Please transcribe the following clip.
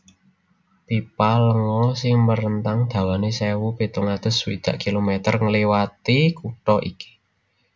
Pipa lenga sing merentang dawané sewu pitung atus swidak kilometer ngliwati kutha iki